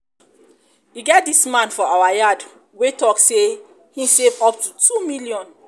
e get dis man for our yard wey talk say he save up to 2 million